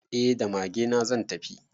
Eh da magena zan tafi.